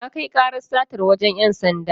Na kai karar satar wajen ‘yan sanda.